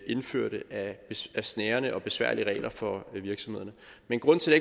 indført af snærende og besværlige regler for virksomhederne men grunden til at